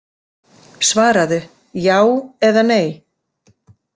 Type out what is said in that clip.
„Svaraðu, já eða nei!?“